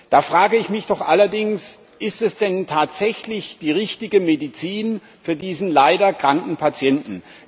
Da frage ich mich allerdings doch Ist das denn tatsächlich die richtige Medizin für diesen leider kranken Patienten?